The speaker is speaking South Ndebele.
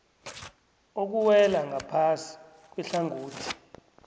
okuwela ngaphasi kwehlangothi